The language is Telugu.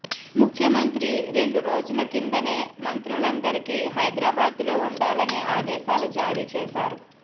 ముఖ్యమంత్రి రెండు రోజుల కిందనే మంత్రులందరికీ హైద్రాబాద్లో ఉండాలని ఆదేశాలు జారీ చేశారు